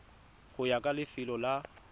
go ya ka lefelo la